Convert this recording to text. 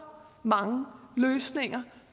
mange løsninger